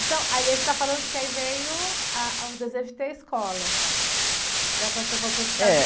Então, aí você está falando que aí veio, ah, ah, o desejo de ter escola, né? Quando você voltou dos Estados Unidos..